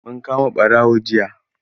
Mun kama ɓarawo jiya.